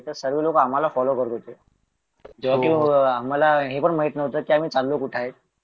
त्यावेळी आम्हाला हे पण माहित नव्हतं कि आम्ही चालो कुठं